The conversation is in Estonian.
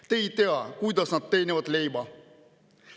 Te ei tea, kuidas nad leiba teenivad.